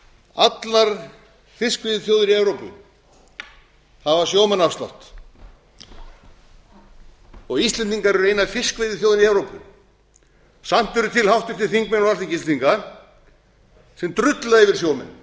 allar fiskveiðiþjóðir í evrópu hafa sjómannaafslátt íslendingar eru eina fiskveiðiþjóðin í evrópu samt eru til háttvirtir þingmenn á alþingi íslendinga sem drulla yfir sjómenn